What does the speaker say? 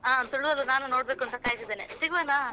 ಆ ತುಳುವಲ್ಲೂ ನಾನು ನೋಡ್ಬೇಕು ಅಂತ ಕಾಯ್ತಾ ಇದ್ದೇನೆ ಸಿಗುವನ.